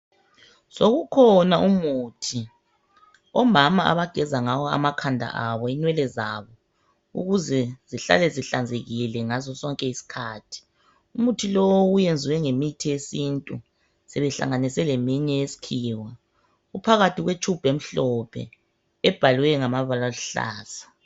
Sokukhona umuthi omama abageza ngawo amakhanda abo inwele zabo, ukuze zihlale zihlanzekile ngaso sonke iskhathi. Umuthi lowu uyenzwe ngemithi yesintu, sebehlanganise leminye eyeskhiwa. Iphakathi kwetshubhu emhlophe, ebhalwe ngamabala aluhlaza